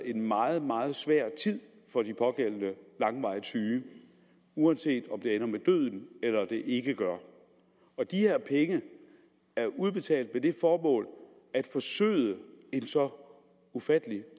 en meget meget svær tid for de pågældende langvarigt syge uanset om det ender med døden eller ikke og de her penge er udbetalt med det formål at forsøde en så ufattelig